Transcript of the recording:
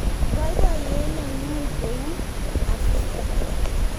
baibaiyet neng'ung ko u asister